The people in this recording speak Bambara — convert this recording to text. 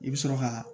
I bɛ sɔrɔ ka